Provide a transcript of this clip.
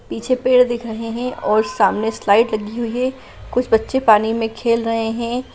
पीछे पेड़ दिख रहे है और सामने स्लाइड लगी हुई है और कुछ बच्चे पानी में खेल रहे है।